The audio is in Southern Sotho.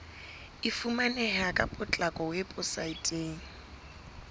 e fumaneha ka potlako weposaeteng